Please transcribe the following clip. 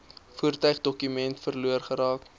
voertuigdokumente verlore geraak